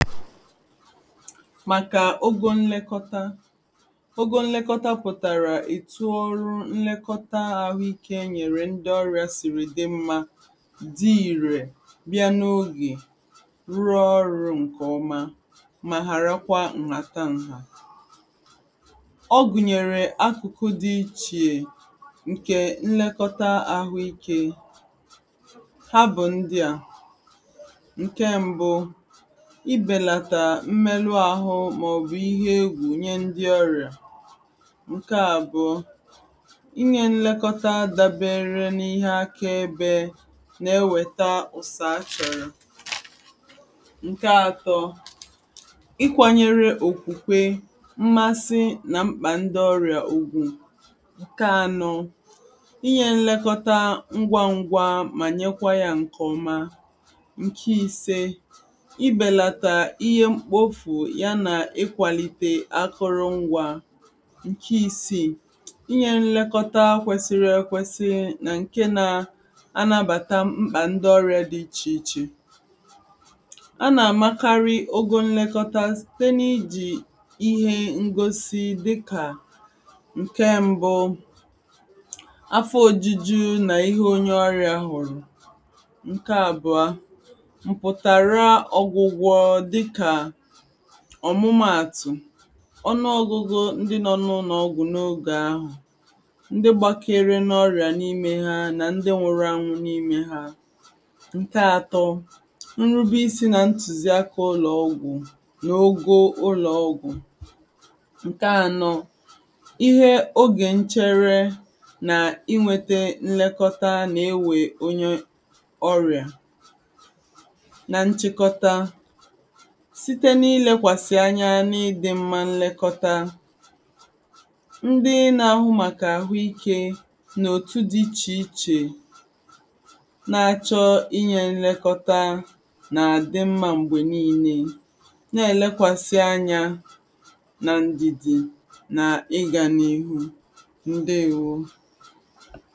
màkà ógò nlekọta ógò nlekọta pụtara etù ọrụ nlekọta ahụ iké enyèrè ndị ọrịa siri dị mma dị irè bịa n’oge rụọ ọrụ nke ọma ma ghara kwa nnàta nhà ògùnyèrè akụ̀kụ dị iche nke nlekọta ahụ iké ha bụ̀ ndị a nke mbu ibelata mmerụ ahụ maọbụ̀ ihe egwu nye ndị ọrịa nke abụọ inye nlekọta dabere n’ihe akaebe na-eweta ụzọ achọrọ nke atọ ịkwànyere okwukwe, mmàsi nà mkpa ndị ọrịa nke anọ inye nlekọta ngwa ngwa ma nye kwa ya nke ọma nke ise ibelata ihe mkpofu ya na ịkwalite akụrụngwa nke isii inye nlekọta kwesiri ekwesi nà nke na-anabata mkpa ndị ọrịa dị iche iche a na-amakarị ogo nlekọta site n’iji ihe ngosipụta dị ka nke mbu afọ ojuju nà ihe onye ọrịa hụrụ nke abụọ mputara ọgwụgwụ dịka ọmụmaatụ, ọnụ ọgụgụ ndị nọ n’ụlọ ọgwụ n’oge ahụ, ndị gbakere n’ọrịa n’ime ha nà ndị nwụrụ anwụ n’ime ha nke atọ nrube isi nà ntuziaka ụlọ ọgwụ n’ogo ụlọ ọgwụ nke anọ oge nchere nà inweta nlekọta na-eweta onye ọrịa na nchịkọtà site n’ílékwasị ányá ná ịdị mma nlekọta ndị na-ahụ maka ahụ ike n’òtù dị iche iche na-achọ inye nlekọta nà-adị mma mgbe niile na-elekwasị anya na ndidi nà ịga n’ihu ndewo